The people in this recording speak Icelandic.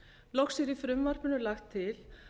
loks er í frumvarpinu lagt til